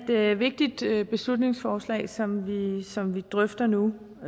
det er et vigtigt beslutningsforslag som som vi drøfter nu